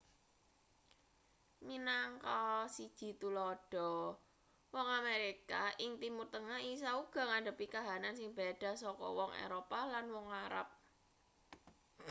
minangka siji tuladha wong amerika ing timur tengah isa uga ngadhepi kahanan sing beda saka wong eropa lan wong arab